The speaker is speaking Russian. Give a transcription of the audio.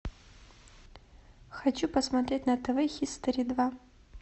хочу посмотреть на тв хистори два